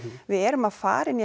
við erum að fara inn í